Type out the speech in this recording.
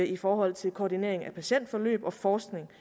i forhold til koordineringen af patientforløb og forskning